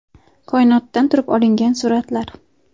Koinotdan turib olingan suratlar .